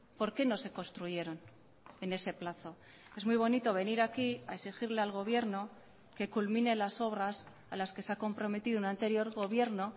por qué no se construyeron en ese plazo es muy bonito venir aquí a exigirle al gobierno que culmine las obras a las que se ha comprometido un anterior gobierno